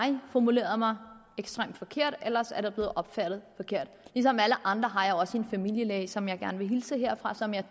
formuleret mig ekstremt forkert eller også er det blevet opfattet forkert ligesom alle andre har jeg også en familielæge som jeg gerne vil hilse herfra og som jeg